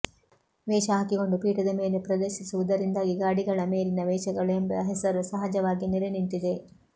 ವೇಷ ಹಾಕಿಕೊಂಡು ಪೀಠದ ಮೇಲೆ ಪ್ರದರ್ಶಿಸುವುದರಿಂದಾಗಿ ಗಾಡಿಗಳ ಮೇಲಿನ ವೇಷಗಳು ಎಂಬ ಹೆಸರು ಸಹಜವಾಗಿಯೇ ನೆಲೆನಿಂತಿದೆ